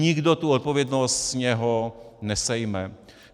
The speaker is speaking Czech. Nikdo tu odpovědnost z něho nesejme.